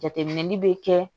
Jateminɛli bɛ kɛ